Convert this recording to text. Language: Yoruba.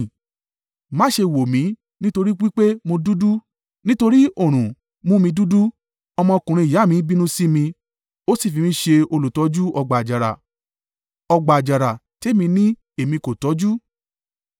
Má ṣe wò mí nítorí wí pé mo dúdú, nítorí oòrùn mú mi dúdú, ọmọkùnrin ìyá mi bínú sí mi ó sì fi mí ṣe olùtọ́jú ọgbà àjàrà; ọgbà àjàrà tèmi ni èmi kò tọ́jú.